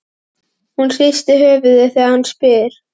Hún hristir höfuðið þegar hann spyr.